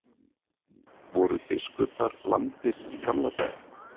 Voru biskupar lamdir í gamla daga?